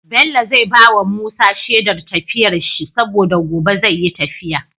Bello zai bawa Musa Shedar tafiyar shi saboda gobe zai yi tafiya